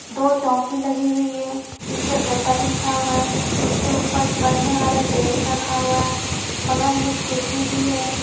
दो चौकी लगी हुई है जिस पे गद्दा बिछा हुआ है उसके ऊपर पड़ने वाला टेबल रखा हुआ है बगल में खिड़की भी है।